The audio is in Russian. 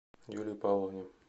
юлии павловне